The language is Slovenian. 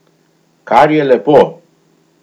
Kar je lepo.